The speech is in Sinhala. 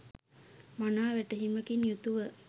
මනා වැටහීමකින් යුතුව